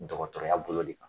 Dɔgɔtɔrɔya bolo de kan.